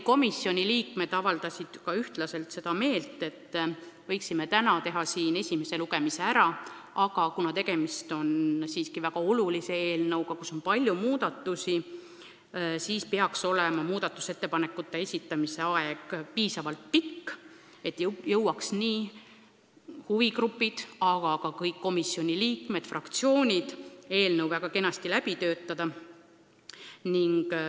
Komisjoni liikmed avaldasid üksmeelset arvamust, et võiksime esimese lugemise nimetatud päeval ära teha, aga kuna tegemist on siiski väga olulise eelnõuga, kus on palju muudatusi, siis peaks muudatusettepanekute esitamise aeg olema piisavalt pikk, et nii huvigrupid kui ka kõik komisjoni liikmed ja fraktsioonid jõuaksid eelnõu korralikult läbi arutada.